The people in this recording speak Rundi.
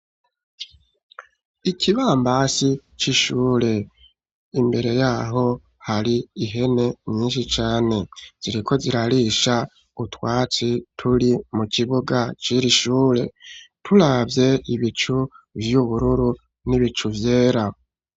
Ikibambasi c'ishure imbere yaho hari ihene myinshi cane ziriko zirarisha utwatsi turi mu kibuga ciri ishure turavye ibicu vy'ubururu n'ibicu vyera.